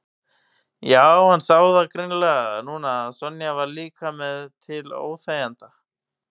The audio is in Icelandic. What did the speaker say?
Já, hann sá það greinilega núna að Sonja var líka bara til óþæginda.